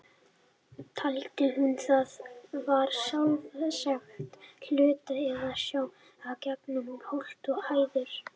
Taldi hún það vera sjálfsagðan hlut, eða sá hún í gegnum holt og hæðir?